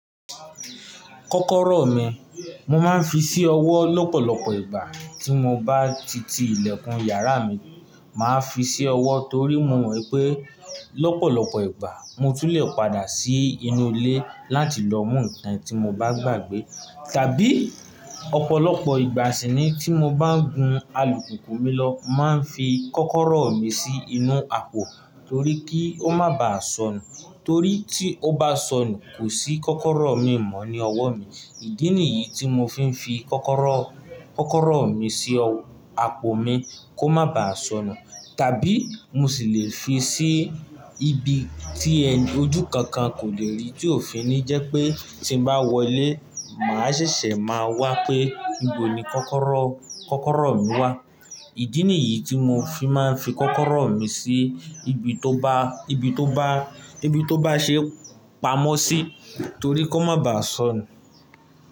Kọ́kọ́rọ́ mi, mo máa ń fi sí ọwọ́ lọ́pọ̀lọpọ̀ ìgbà tí mo bá ti ti ilẹ̀kùn yàrá mi. Máa fi sí ọwọ́ torí mo mọ̀ pé lọ́pọ̀lọpọ̀ ìgbà mo tún lè padà sí inú ilé láti lọ mú ǹkan tí mo bá gbàgbé. Tàbí ọ̀pọ̀lọpọ̀ ìgbà sì nii tí mo bá ń gùn alùpùpù mi lọ, máa ń fi kọ́kọ́rọ́ mi sí inú àpò torí kí ó má baà sọnù. Torí tí ó bá sọnù, kò sí kọ́kọ́rọ́ mii mọ ní ọwọ́ mi. Ìdí nìyií tí mo fi ń fi kọ́kọ́rọ́, kọ́kọ́rọ́ mi sí àpò mi kó má baà sọnù. Tàbí mo sì lè fi sí ibi tí ojú kankan kò lè rí tí ò fi ni jẹ́ pé tí n bá wọlé màá ṣẹ̀ṣẹ̀ máa wá pé níbo ni kọ́kọ́rọ́, kọ́kọ́rọ́ mi wà. Ìdí nìyí tí mo fi máa ń fi kọ́kọ́rọ́ mi sí ibi tó bá, ibi tó bá, ibi tó bá ṣe pamọ́ sí torí kó má baà sọnù.